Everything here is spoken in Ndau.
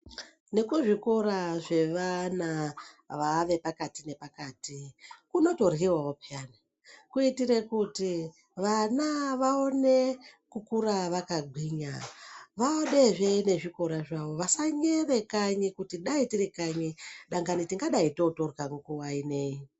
Nekuzvikora zvevana vaave vepakati nepakati, kunotidliwawo pwani, Kuitire kuti vana vawone kukura vakagwinya vade zvenezvikora zvavo, vasanyevekane kuti dai tiri kanyi dakanyi tingadai totodya nguvaineyi.